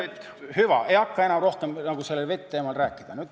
Hüva, ei hakka enam rohkem sellel vet-teemal rääkima.